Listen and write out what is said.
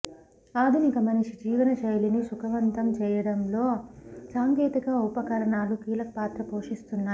ఆధునిక మనిషి జీవన శైలిని సుఖవంతం చేయటంలో సాంకేతిక ఉపకరణాలు కీలక పాత్ర పోషిస్తున్నాయి